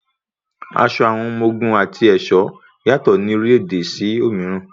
Aṣọ àwọn ọmọ ogun àti ẹ̀ṣọ́ yàtọ̀ ní orílẹ̀-ẹ̀dẹ̀ sí òmíràn.